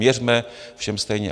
Měřme všem stejně.